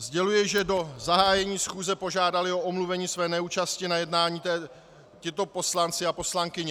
Sděluji, že do zahájení schůze požádali o omluvení své neúčasti na jednání tito poslanci a poslankyně.